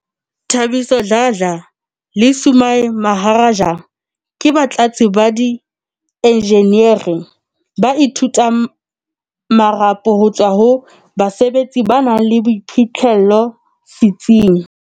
Thabiso Dladla le Sumay Maharaj ke batlatsi ba di enjeneri ba ithutang marapo ho tswa ho basebetsi ba nang le boiphihlello setsi ng